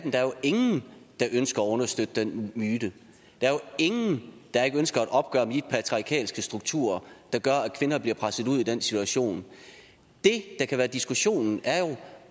ingen der ønsker at understøtte den myte der er ingen der ikke ønsker et opgør med de patriarkalske strukturer der gør at kvinder bliver presset ud i den situation det der kan være diskussionen er jo